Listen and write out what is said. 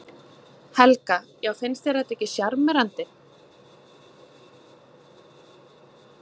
Helga: Já finnst þér þetta ekki sjarmerandi?